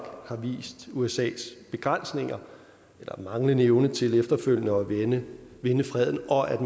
har vist usas begrænsninger eller manglende evne til efterfølgende at vinde vinde freden og at